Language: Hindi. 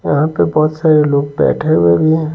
यहां पे बहुत सारे लोग बैठे हुए भी हैं।